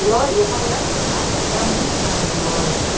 E e a faculdade de informática te dá muita base de lógica.